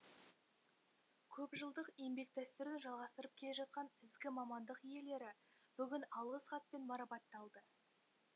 көпжылдық еңбек дәстүрін жалғастырып келе жатқан ізгі мамандық иелері бүгін алғыс хатпен марапатталды